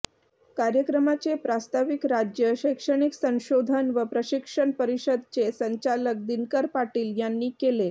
कार्यक्रमाचे प्रास्ताविक राज्य शैक्षणिक संशोधन व प्रशिक्षण परिषदचे संचालक दिनकर पाटील यांनी केले